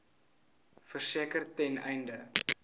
verseker ten einde